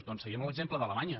doncs seguim l’exemple d’alemanya